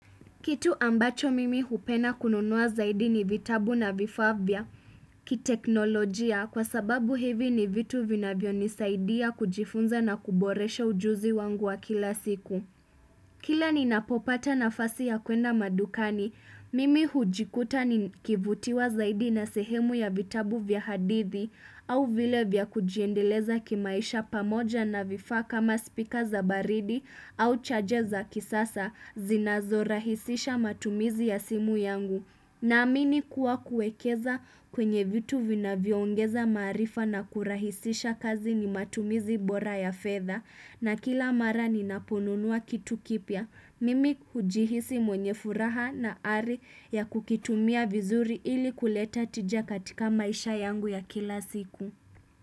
Kitu ambacho mimi hupenda kununua zaidi ni vitabu na vifaa vya kiteknolojia kwa sababu hivi ni vitu vinavyo nisaidia kujifunza na kuboresha ujuzi wangu wa kila siku. Kila ninapopata nafasi ya kwenda madukani, mimi hujikuta ni kivutiwa zaidi na sehemu ya vitabu vya hadithi au vile vya kujiendeleza kimaisha pamoja na vifaa kama speaker za baridi au charger za kisasa zinazo rahisisha matumizi ya simu yangu. Naamini kuwa kuwekeza kwenye vitu vina vyongeza maarifa na kurahisisha kazi ni matumizi bora ya fedha na kila mara ninaponunua kitu kipya. Mimi hujihisi mwenye furaha na ari ya kukitumia vizuri ili kuleta tija katika maisha yangu ya kila siku.